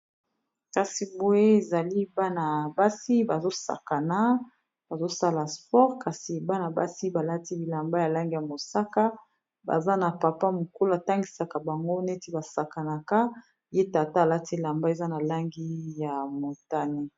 kasi boye ezali bana basi bazosakanabazosala sport kasi bana basi balati bilamba ya langi ya mosaka baza na papa mokulu atangisaka bango neti basakanaka ye tata alati lamba eza na langi ya motane